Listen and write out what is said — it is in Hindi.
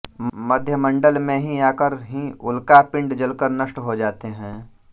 मध्यमण्डल में ही आकर ही उल्का पिण्ड जलकर नष्ट हो जाते है